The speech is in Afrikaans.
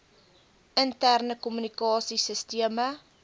interne kommunikasie sisteme